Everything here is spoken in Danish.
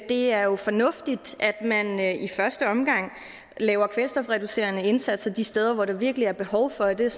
det er jo fornuftigt at man i første omgang laver kvælstofreducerende indsatser de steder hvor der virkelig er behov for det